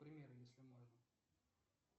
пример если можно